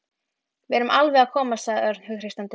Við erum alveg að koma sagði Örn hughreystandi.